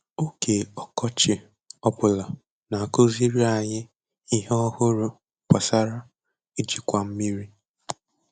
Oge ọkọchị ọ bụla na-akụziri anyị ihe ọhụrụ gbasara ijikwa mmiri.